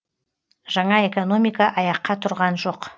жаңа экономика аяққа тұрған жоқ